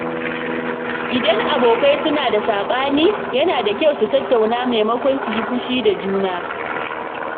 Idan abokai suna da sabani, yana da kyau su tattauna maimakon su yi fushi da juna.